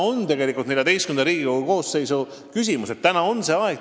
Tegelikult on see küsimus ka Riigikogu XIV koosseisule.